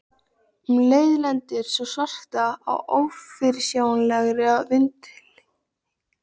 Um leið lendir sú svarta í ófyrirsjáanlegri vindhviðu.